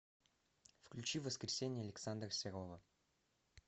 включи воскресенье александра серова